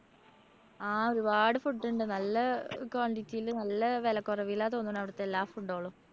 ആ ഒരുപാട് food ണ്ട്. നല്ല ആഹ് quantity ല് നല്ല വെലക്കൊറവിലാ തോന്നുന്നേ അവിടുത്തെ എല്ലാ food കളും.